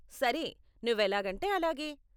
సరే, నువ్వెలాగంటే అలాగే.